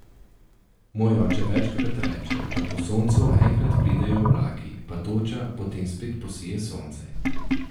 Moj oče večkrat reče, da po soncu enkrat pridejo oblaki, pa toča, potem spet posije sonce.